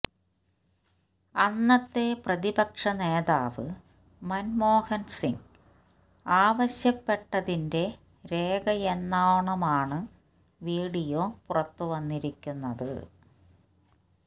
അന്നത്തെ പ്രതിപക്ഷ നേതാവ് മന്മോഹന് സിങ് ആവശ്യപ്പെട്ടതിന്റെ രേഖയെന്നോണമാണ് വീഡിയോ പുറത്തുവന്നിരിക്കുന്നത്